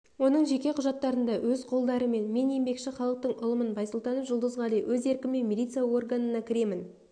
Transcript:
оның жеке құжаттарында өз қолдарымен мен еңбекші халықтың ұлымын байсултанов жұлдызғали өз еркіммен милиция органына кіремін